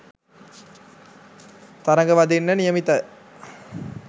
තරඟ වදින්න නියමිත.